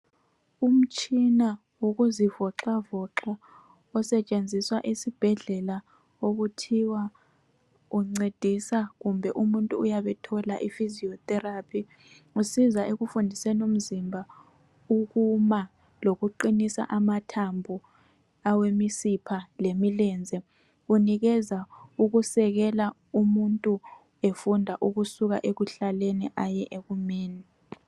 Umtshina wokuzivoxavoxa osetshenziswa esibhedlela okuthiwa uncedisa kumbe umuntu uyabethola I physio therapy. Usiza ekufundiseni umzimba ukuma lokuqinisa amathambo awemisipha lemilenze unikeza ukusekela umuntu efunda ukusuka ekuhlaleni aye ekumeni.